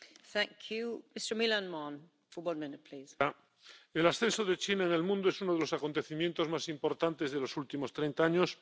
Señora presidenta, el ascenso de China en el mundo es uno de los acontecimientos más importantes de los últimos treinta años.